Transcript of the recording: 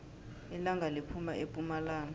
ilanga liphuma epumalanga